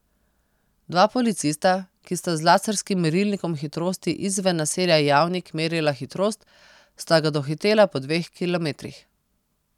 Dva policista, ki sta z laserskim merilnikom hitrosti izven naselja Javnik merila hitrost, sta ga dohitela po dveh kilometrih.